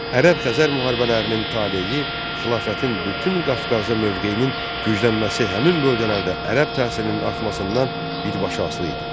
Ərəb-Xəzər müharibələrinin taleyi xilafətin bütün Qafqazda mövqeyinin güclənməsi həmin bölgələrdə ərəb təsirinin artmasından birbaşa asılı idi.